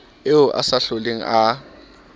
eo a sa hloleng a